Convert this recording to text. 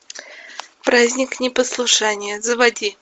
праздник непослушания заводи